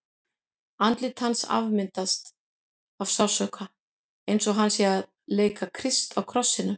Andlit hans er afmyndað af sársauka, eins og hann sé að leika Krist á krossinum.